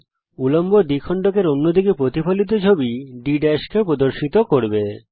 এটি উল্লম্ব দ্বিখণ্ডক এর অন্য দিকে প্রতিফলিত ছবি D কে প্রদর্শিত করবে